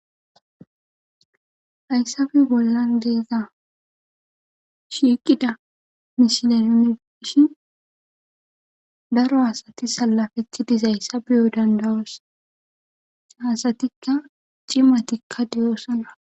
Dyssabe bollan deeza shiiqida mishinerineishin daro asati salafeththi dizayssa biyo dandawos hasatikka cimatikka diyoosana.